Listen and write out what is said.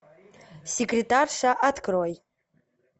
секретарша открой